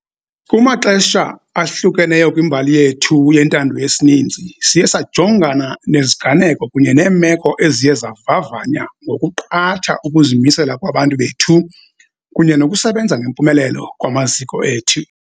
Kumaxesha ahlukeneyo kwimbali yethu yentando yesininzi, siye sajongana neziganeko kunye neemeko eziye zavavanya ngokuqatha ukuzimisela kwabantu bethu kunye nokusebenza ngempumelelo kwamaziko ethu.